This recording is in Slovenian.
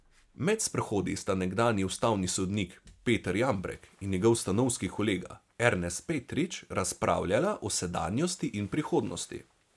Med sprehodi sta nekdanji ustavni sodnik Peter Jambrek in njegov stanovski kolega Ernest Petrič razpravljala o sedanjosti in prihodnosti.